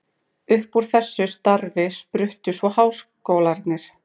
Upp úr þessu starfi spruttu svo háskólarnir.